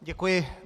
Děkuji.